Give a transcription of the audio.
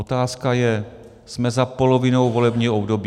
Otázka je - jsme za polovinou volebního období.